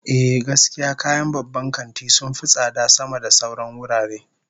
Ehh, gaskiya kayan babban kanti sun fi tsada sama da sauran wurare